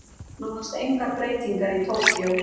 Nánast engar breytingar í Tókýó